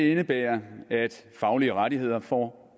indebærer at faglige rettigheder får